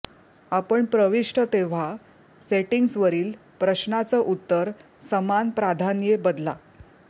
आपण प्रविष्ट तेव्हा सेटिंग्ज वरील प्रश्नाचं उत्तर समान प्राधान्ये बदला